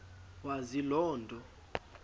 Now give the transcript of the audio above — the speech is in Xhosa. wazi loo nto